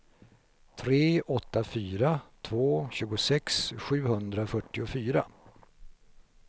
tre åtta fyra två tjugosex sjuhundrafyrtiofyra